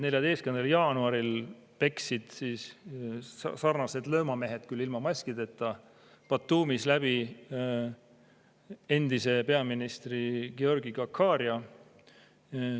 14. jaanuaril peksid sarnased löömamehed, küll ilma maskideta, Batumis läbi endise peaministri Giorgi Gahharia.